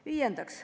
Viiendaks.